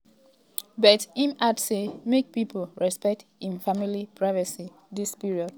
but im add say make pipo respect im family privacy dis period.